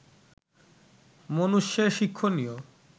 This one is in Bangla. মনুষ্যের শিক্ষণীয়